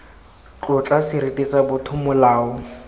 tlotla seriti sa botho molao